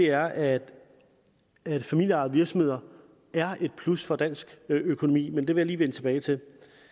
er at at familieejede virksomheder er et plus for dansk økonomi men det vil jeg lige vende tilbage til